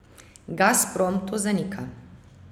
Gazprom to zanika.